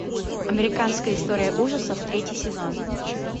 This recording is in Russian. американская история ужасов третий сезон